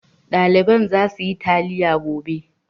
Ɗaliban za suyi taliya gobe.